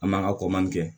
An man ka ko man kɛ